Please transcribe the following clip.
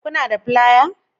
Kuna da fliers